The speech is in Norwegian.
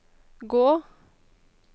gå